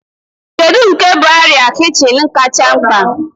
Kedu nke bụ arịa kichin kacha mkpa?